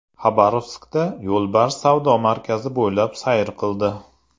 Xabarovskda yo‘lbars savdo markazi bo‘ylab sayr qildi .